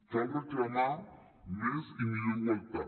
cal reclamar més i millor igualtat